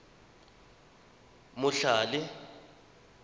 motlhale